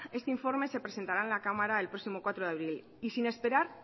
este informe se presentará en la cámara el próximo cuatro de abril y sin esperar